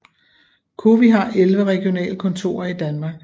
COWI har 11 regionale kontorer i Danmark